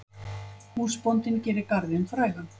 Húsbóndinn gerir garðinn frægan.